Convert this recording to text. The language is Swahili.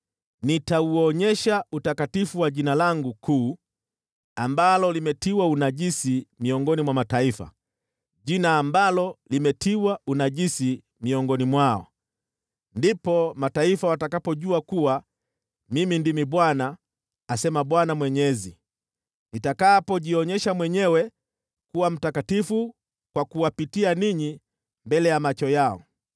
Nitauonyesha utakatifu wa Jina langu kuu, ambalo limetiwa unajisi miongoni mwa mataifa, jina ambalo limetiwa unajisi miongoni mwao. Ndipo mataifa watakapojua kuwa Mimi ndimi Bwana , asema Bwana Mwenyezi, nitakapojionyesha mwenyewe kuwa mtakatifu kwa kuwapitia ninyi mbele ya macho yao.